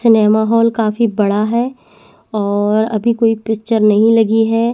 Cinema hall काफी बड़ा है और अभी कोई पिक्चर नहीं लगी है।